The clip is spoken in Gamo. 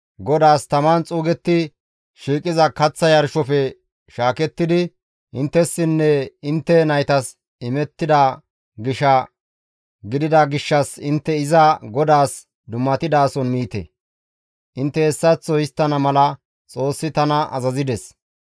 GODAAS taman xuugetti shiiqiza kaththa yarshofe shaakettidi inttessinne intte naytas imettida gisha gidida gishshas intte iza GODAAS dummatidason miite; intte hessaththo histtana mala Xoossi tana azazides.